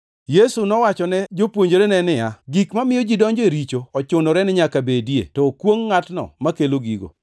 Yesu nowachone jopuonjrene niya, “Gik mamiyo ji donjo e richo ochunore ni nyaka bedie, to okwongʼ ngʼatno makelo gigo.